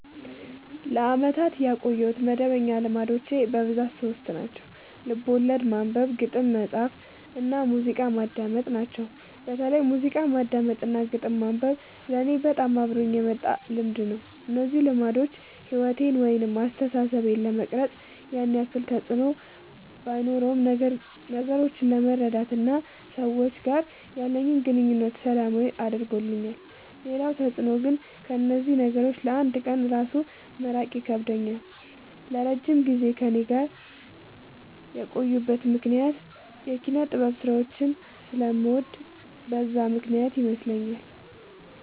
ለአመታት ያቆየሁት መደበኛ ልማዶች በብዛት ሶስት ናቸው። ልቦለድ ማንበብ፣ ግጥም መፃፍ እና ሙዚቃ ማዳመጥ ናቸው። በተለይ ሙዚቃ ማዳመጥ እና ግጥም ማንበብ ለኔ በጣም አብሮኝ የመጣ ልምድ ነው። እነዚህ ልማዶች ሕይወቴን ወይም አስተሳሰቤን ለመቅረጽ ያን ያክል ተፅዕኖ ባኖረውም ነገሮችን ለመረዳት እና ከሰዎች ጋር ያለኝን ግንኙነት ሰላማዊ አድርገውልኛል ሌላው ተፅዕኖ ግን ከእነዚህ ነገሮች ለ አንድ ቀን እራሱ መራቅ ይከብደኛል። ለረጅም ጊዜ ከእኔ ጋር የቆዩበት ምክንያት የኪነጥበብ ስራዎችን ስለምወድ በዛ ምክንያት ይመስለኛል።